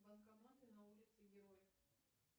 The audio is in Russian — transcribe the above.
банкоматы на улице героев